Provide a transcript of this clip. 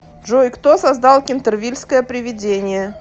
джой кто создал кентервильское привидение